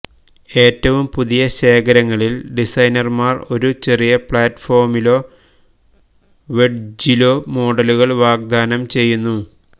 ഏറ്റവും പുതിയ ശേഖരങ്ങളിൽ ഡിസൈനർമാർ ഒരു ചെറിയ പ്ലാറ്റ്ഫോമിലോ വെഡ്ജ്യിലോ മോഡലുകൾ വാഗ്ദാനം ചെയ്യുന്നു